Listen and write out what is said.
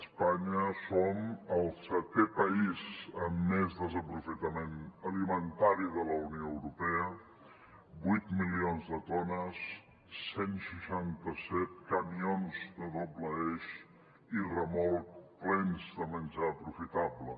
espanya som el setè país amb més desaprofitament alimentari de la unió europea vuit milions de tones cent i seixanta set camions de doble eix i remolc plens de menjar aprofitable